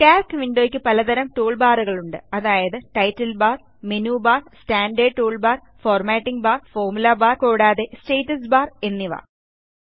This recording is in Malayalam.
കാൽക്ക് വിൻഡോ യ്ക്ക് പലതരം ടൂൾബാറുകളുണ്ട് അതായത് title bar menu bar standard toolbar formatting bar formula bar കൂടാതെ സ്റ്റാറ്റസ്സ് ബാർ എന്നിവ